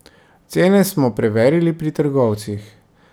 Cene smo preverili pri trgovcih.